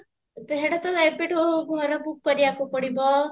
ତ ସେଟା ତ ଏବେଠୁ ଘର book କରିବାକୁ ପଡିବ